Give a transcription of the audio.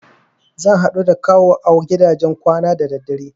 Zan haɗu da Kawu a gidajen kwanan da daddare.